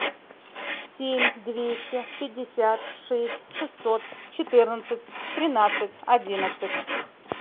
семь двести пятьдесят шесть шестьсот четырнадцать тринадцать одиннадцать